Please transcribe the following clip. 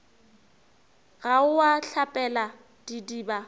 ga o a hlapela didiba